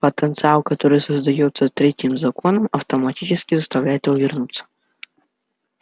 потенциал который создаётся третьим законом автоматически заставляет его вернуться